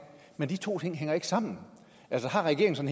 men de to ting hænger ikke sammen altså har regeringen